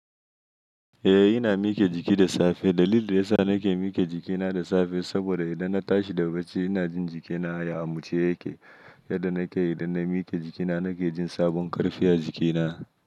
Eh ina mike jiki da safe. Dalilin da yasa na ke mike jikina da safe saboda idan na tashi da bacci ina jin jikina ya amuce yake. Yadda na kai idan na mike jikina na ke jin sabon karfi a jikina.